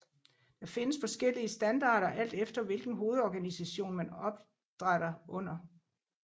Der findes forskellige standarder alt efter hvilken hovedorganisation man opdrætter under